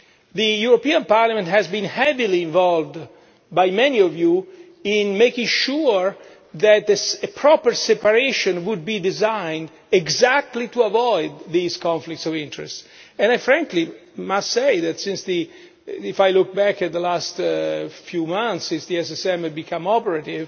The European Parliament has been heavily involved by many of you in making sure that this proper separation would be designed exactly to avoid these conflicts of interest, and frankly I must say that, since the SSM became operative a few months